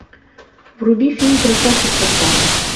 вруби фильм красавчик со стажем